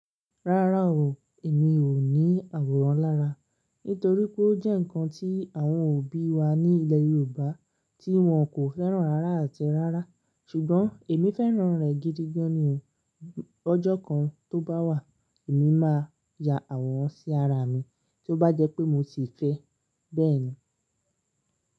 Rárá o, èmi ò ní àwòrán lára, nítorí pé ó jẹ́ ǹkan tí àwọn òbí wa ní ilẹ̀ Yorùbá tí wọn kò fẹ́ràn rárá àti rárá, ṣùgbọ́n èmi fẹ́ràn rẹ̀ gidigan ni o. Lojọ́ kan tó bá wà, èmi máa ya àwòrán sí ara mi, tí ó bá jẹ́ pé mo ti fẹ́. Bẹ́ẹ̀ ni.